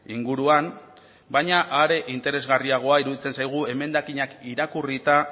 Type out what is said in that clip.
inguruan baina are interesgarriagoa iruditzen zaigu emendakinak irakurrita